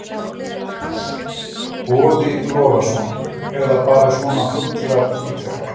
Boði Logason: Eða bara svona fuglar í trjám?